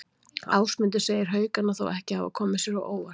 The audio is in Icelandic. Ásmundur segir Haukana þó ekki hafa komið sér á óvart.